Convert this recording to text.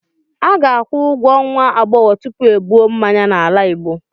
a ga-akwụ ụgwọ nwa agbọghọ tupu ebuo mmanya n'ala igbo